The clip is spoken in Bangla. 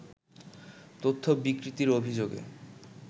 তথ্য বিকৃতির অভিযোগে